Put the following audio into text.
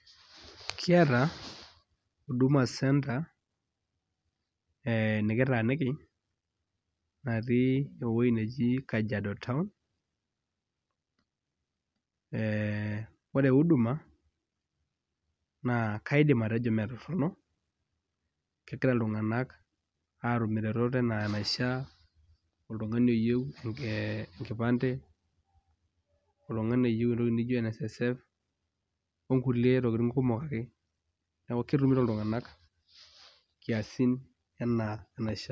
Kiata Huduma Centre nikitaaniki natii Kajiado town ee ore huduma naa kaidim atejo mee torrono ketumito iltung'anak iretoto enaa enaishiaa oltung'ani oyieu ee enkipande oltung'ani oyieu entoki nijio NSSF onkulie tokiting kumok ake neeku ketumito iltung'anak nkiasin enaa enaishiaa.